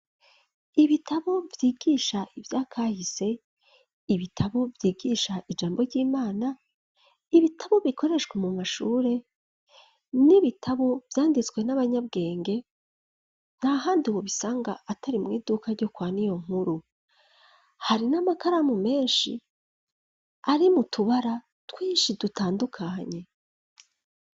Ibitabo vyigisha ivyakahise, ibitabo vyigisha ijambo ry'Imana, ibitabo bikoreshwa mu mashure, n'ibitabo vyanditswe n'abanyabwenge ntahandi wobisanga atari mw'iduka ryo kwa Niyonkuru. Hari n'amakaramu menshi ari mu tubara twinshi dutandukanye.